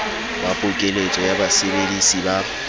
ba pokeletso ya basebedisi ba